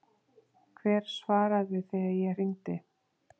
Hver svaraði þegar ég hringdi?